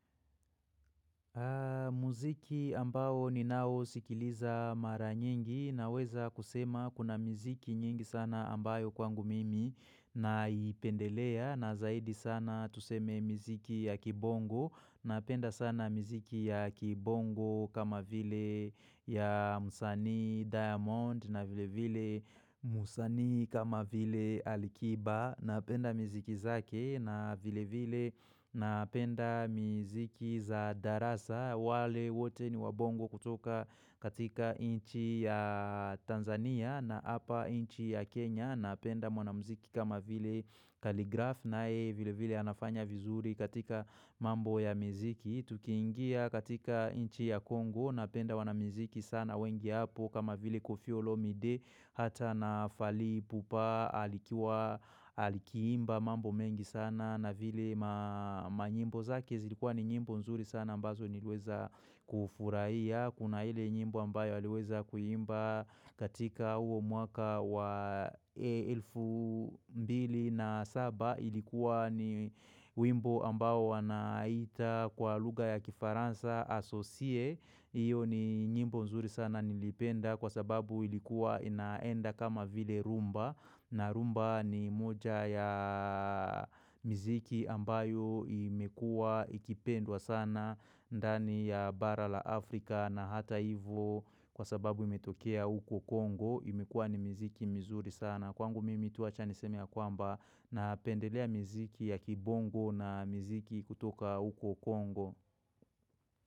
Muziki ambao ninao sikiliza mara nyingi na weza kusema kuna mziki nyingi sana ambayo kwangu mimi na ipendelea na zaidi sana tuseme mziki ya kibongo. Napenda sana mziki ya kibongo kama vile ya msani diamond na vile vile msani kama vile alikiba. Napenda miziki zake na vile vile napenda miziki za darasa wale wote ni wabongo kutoka katika inchi ya Tanzania na apa inchi ya Kenya. Napenda mwanamiziki kama vile kaligraph nae vile vile anafanya vizuri katika mambo ya miziki. Tukiingia katika inchi ya Kongo napenda wanamiziki sana wengi hapo kama vile kofi olomide hata na fali pupa alikiwa alikiimba mambo mengi sana. Na vile ma nyimbo zake zilikuwa ni nyimbo nzuri sana ambazo nilweza kufurahia Kuna ile nyimbo ambayo aliweza kuimba katika uo mwaka wa elfu mbili na saba Ilikuwa ni wimbo ambao wanaita kwa lugha ya kifaransa asosie Iyo ni nyimbo nzuri sana nimependa kwa sababu ilikuwa inaenda kama vile rumba na rumba ni moja ya miziki ambayo imekua ikipendwa sana ndani ya bara la Afrika na hata ivo kwa sababu imetokea huko Kongo imekua ni mziki mzuri sana Kwangu mimi tu wacha niseme ya kwamba na pendelea mziki ya kibongo na miziki kutoka huko Kongo.